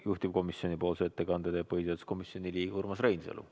Juhtivkomisjoni nimel teeb ettekande põhiseaduskomisjoni liige Urmas Reinsalu.